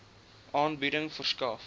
aanbieding verskaf